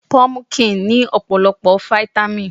Pọmukíǹ ní ọ̀pọ̀lọpọ̀ Fáítámì.